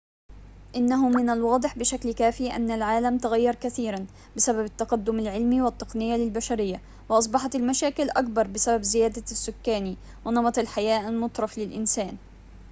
إنه من الواضح بشكل كاف أن العالم تغير كثيراً بسبب التقدم العلمي والتقنية للبشرية وأصبحت المشاكل أكبر بسبب زيادة السكاني ونمط الحياة المترف للإنسان